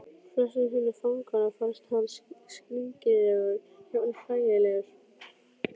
Flestum hinna fanganna fannst hann skringilegur, jafnvel hlægilegur.